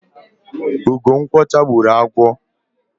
ugo nkwọcha gburu agwo